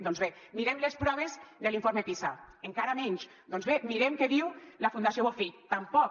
doncs bé mirem les proves de l’informe pisa encara menys doncs bé mirem què diu la fundació bofill tampoc